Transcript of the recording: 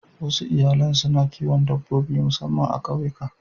Wasu iyalan suna kiwon dabbobi musamman a ƙauyuka.